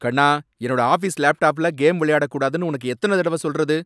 கண்ணா! என்னோட ஆஃபீஸ் லேப்டாப்ல கேம் விளையாடக் கூடாதுனு உனக்கு எத்தனை தடவை சொல்றது ?